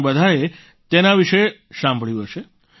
તમે બધાએ તેના વિશે સાંભળ્યું હશે